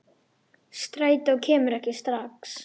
Strætó kemur ekki strax.